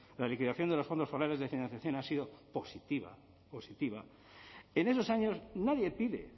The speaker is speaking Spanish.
la liquidación de los fondos forales de financiación ha sido positiva positiva en esos años nadie pide